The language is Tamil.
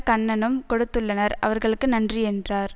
கண்ணனும் கொடுத்துள்ளனர் அவர்களுக்கு நன்றி என்றார்